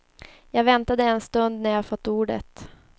Jag väntade en stund när jag fått ordet.